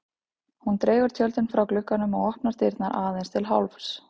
Hún dregur tjöldin frá glugganum og opnar dyrnar aðeins til hálfs.